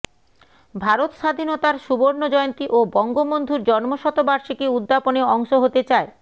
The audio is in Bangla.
ভারত স্বাধীনতার সুবর্ণ জয়ন্তী ও বঙ্গবন্ধুর জন্মশতবার্ষিকী উদ্যাপনে অংশ হতে চায়